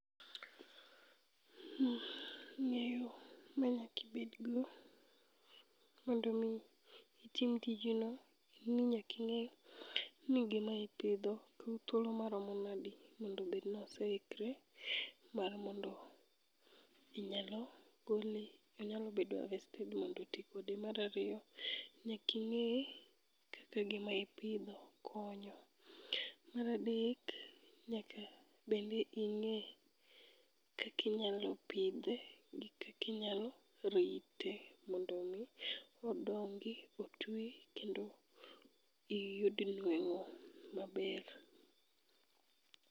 Ng'eyo manyakibedgo mondomi itim tijno en ni nyaking'e ni gimaipidho kawo thuolo maromo nadi mondo obednoseikre mar mondo inyalo gole onyalo bedo harvested mondo ti kode. Marariyo, nyaking'e kaka gima ipidho konyo. Maradek, nyaka bende ing'e kakinyalo pidhe gi kakinyalo rite mondo mi odongi otwi kendo iyud nweng'o maber.